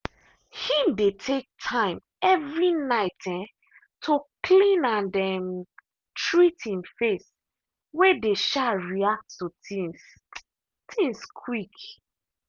him dey take time every night um to clean and um treat him face way dey um react to things things quick.